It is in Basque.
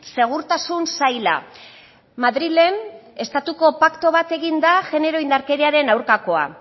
segurtasun saila madrilen estatuko paktu bat egin da genero indarkeriaren aurkakoa